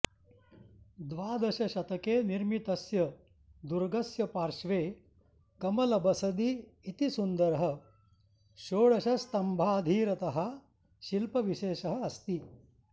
द्वादशशतके निर्मितस्य दुर्गस्य पार्श्वे कमलबसदि इति सुन्दरः षोडशस्तम्भाधीरतः शिल्पविशेषः अस्ति